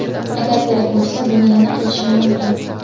Agar kerak bo‘lsa, buni yana qilishim mumkin.